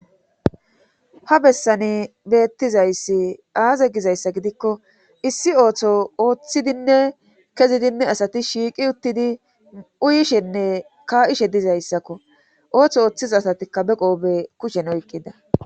ha bessani beettizayssi aaze gizayssa gidikko issi ooththo ooththidinne kezidinne asati shiiqi uttidi uyishenne ka'ishe dizayssakko ooththo ooththiza asatikka be qoobe kushen oyqqida